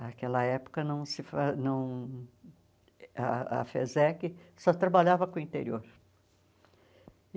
Naquela época, não se fa não ah a FESEC só trabalhava com o interior.